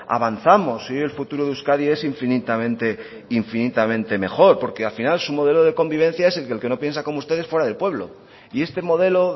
avanzamos y hoy el futuro de euskadi es infinitamente infinitamente mejor porque al final su modelo de convivencia es el que no piensa como ustedes fueran del pueblo y este modelo